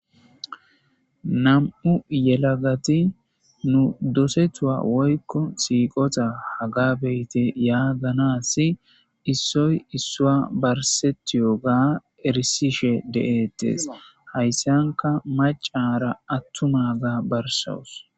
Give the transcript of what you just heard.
nam7u yelagati nu dosetua woykko siiqota hagabeyte yaaganasi issoy issua barsetiyo ga erisishe de7ettes hayssanka macara attuma ga barsos